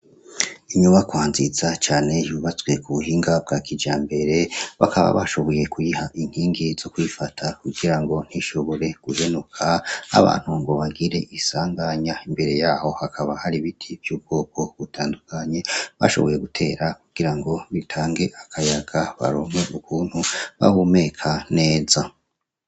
Inyubakwanzisa cane yubatswe ku buhinga bwa kija mbere bakaba bashoboye kwiha inkingi zo kwifata kugira ngo ntishobore guhenuka abantu ngo bagire isanganya imbere yaho hakaba hari ibiti vy'ubwoko gutandukanye bashoboye gutera kugira ngo bitange akayaga barome ukua ntu bahumeka neza.